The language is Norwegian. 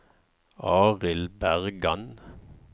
Arild Bergan